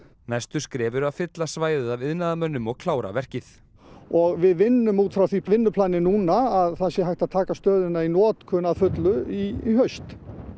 næstu skref eru að fylla svæðið af iðnaðarmönnum og klára verkið og við vinnum út frá því vinnuplani núna að það sé hægt að taka stöðina í notkun að fullu í haust